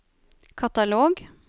katalog